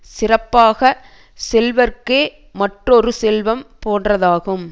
சிறப்பாக செல்வர்க்கே மற்றொரு செல்வம் போன்றதாகும்